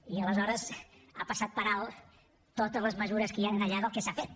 i aleshores ha passat per alt totes les mesures que hi han allà del que s’ha fet